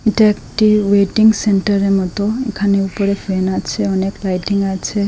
এটা একটি ওয়েটিং সেন্টারের মতো এখানে উপরে ফ্যান আছে অনেক লাইটিং আছে।